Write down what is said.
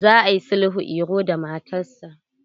Za a yi sulhun Iro da matarsa.